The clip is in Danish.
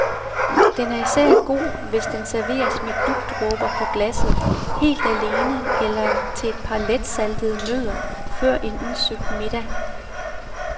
Den er især god, hvis den serveres med dugdråber på glasset, helt alene eller til et par letsaltede nødder før en udsøgt middag.